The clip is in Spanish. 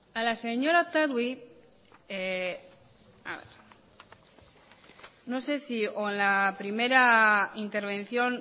a la señora otadui no sé si a la primera intervención